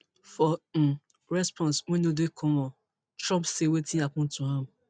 for um response wey no dey common trump say wetin happen to am